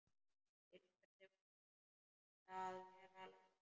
Til hvers að vera læknir?